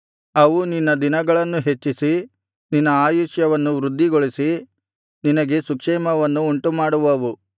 ಅವು ನಿನ್ನ ದಿನಗಳನ್ನು ಹೆಚ್ಚಿಸಿ ನಿನ್ನ ಆಯುಷ್ಯವನ್ನು ವೃದ್ಧಿಗೊಳಿಸಿ ನಿನಗೆ ಸುಕ್ಷೇಮವನ್ನು ಉಂಟುಮಾಡುವವು